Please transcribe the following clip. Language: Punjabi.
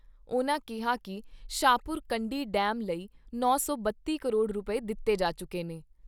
ਉਨ੍ਹਾਂ ਕਿਹਾ ਕਿ ਸ਼ਾਹਪੁਰ ਕੰਢੀ ਡੈਮ ਲਈ ਨੌ ਸੌ ਬੱਤੀ ਕਰੋੜ ਰੁਪਏ ਦਿੱਤੇ ਜਾ ਚੁੱਕੇ ਨੇ।